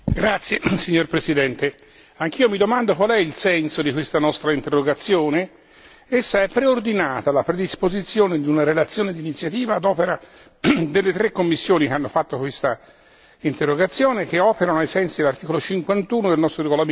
Signor Presidente, onorevoli colleghi, anch'io mi domando qual è il senso di questa nostra interrogazione. Essa è intesa alla predisposizione di una relazione d'iniziativa ad opera delle tre commissioni che hanno redatto quest'interrogazione, che operano ai sensi dell'articolo 51 del nostro regolamento.